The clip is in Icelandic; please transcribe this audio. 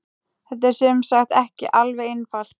Þetta er sem sagt ekki alveg einfalt.